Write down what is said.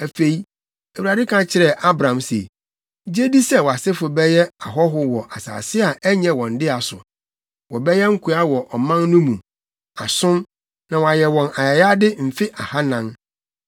Afei, Awurade ka kyerɛɛ Abram se, “Gye di sɛ wʼasefo bɛyɛ ahɔho wɔ asase a ɛnyɛ wɔn dea so. Wɔbɛyɛ nkoa wɔ ɔman no mu, asom, na wɔayɛ wɔn ayayade mfe ahannan.